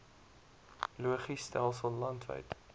logis stelsel landwyd